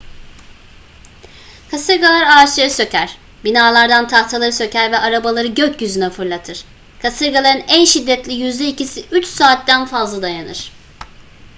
kasırgalar ağaçları söker binalardan tahtaları söker ve arabaları gökyüzüne fırlatır kasırgaların en şiddetli yüzde ikisi üç saatten fazla dayanır